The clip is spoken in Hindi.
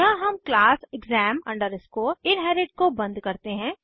यहाँ हम क्लास exam inherit को बंद करते हैं